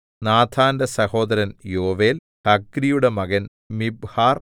നാഥാന്റെ സഹോദരൻ യോവേൽ ഹഗ്രിയുടെ മകൻ മിബ്ഹാർ